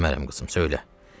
Demərəm qızım, söylə.